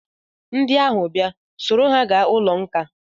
Ndị ahụ bịa, soro ha gawa ụlọ nkà!